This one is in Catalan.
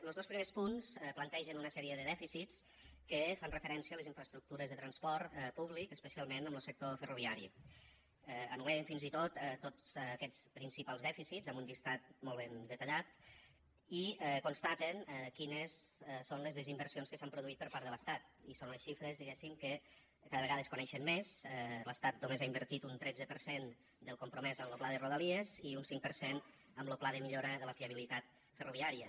los dos primers punts plantegen una sèrie de dèficits que fan referència a les infraestructures de transport públic especialment en lo sector ferroviari enumeren fins i tot tots aquests principals dèficits amb un llistat molt ben detallat i constaten quines són les desinversions que s’han produït per part de l’estat i són unes xifres diguéssim que cada vegada es coneixen més l’estat només ha invertit un tretze per cent del compromès amb lo pla de rodalies i un cinc per cent en lo pla de millora de la fiabilitat ferroviària